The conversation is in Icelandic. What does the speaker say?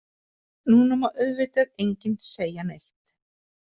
Núna má auðvitað enginn segja neitt.